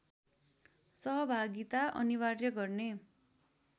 सहभागिता अनिवार्य गर्ने